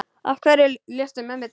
Af hverju léstu mömmu deyja?